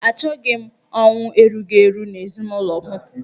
Achọghị m ọnwụ erughi eru n'ezinụlọ m.